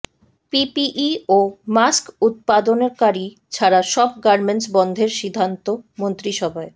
PPE ও mask উৎপাদনকারী ছাড়া সব গার্মেন্টস বন্ধের সিদ্ধান্ত মন্ত্রিসভায়